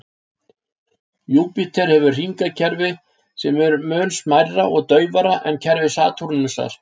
Júpíter hefur hringakerfi sem eru mun smærra og daufara en kerfi Satúrnusar.